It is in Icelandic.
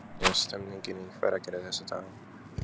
Hvernig er stemmningin í Hveragerði þessa dagana?